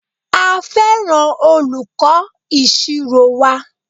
A fẹràn olùkọ ìṣirò wa.